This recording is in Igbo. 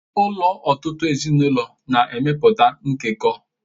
Ụlọ ọtụtụ ezinụlọ na-emepụta nkekọ.